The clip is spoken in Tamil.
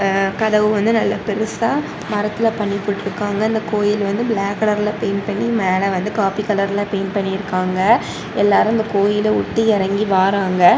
அ கதவு வந்து நல்ல பெருசா மரத்துல பண்ணி போட்ருக்காங்க இந்த கோயில் வந்து பிளாக் கலர்ல பெயிண்ட் பண்ணி மேல காபி கலர்ல பெயிண்ட் பண்ணி இருக்காங்க எல்லாருமே இந்த கோயில உத்து இறங்கி வாராங்க.